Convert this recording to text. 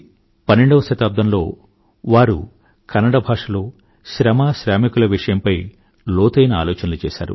పన్నెండవ శతాబ్దంలో వారు కన్నడ భాషలో శ్రమ శ్రామికుల విషయంపై లోతైన ఆలోచనలు చేశారు